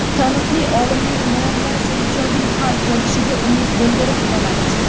Taniqli olimning muammosi ijobiy hal bo‘lishiga umid bildirib qolamiz.